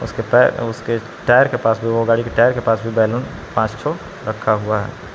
उसके टायर उसके टायर के पास भी वो गाड़ी के टायर के पास भी बैलून पांच छो रखा हुआ है।